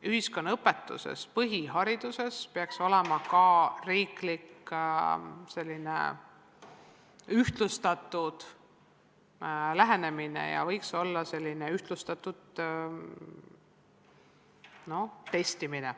põhihariduse ühiskonnaõpetuses peaks valitsema ühtlustatud riiklik lähenemine ja võiks olla ühtlustatud testimine.